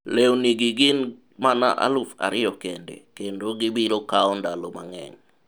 lewni gi gin mana aluf ariyo kende. kendo gibiro kawo ndalo mang'eny